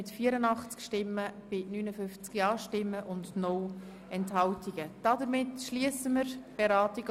Damit schliessen wir die heutigen Beratungen.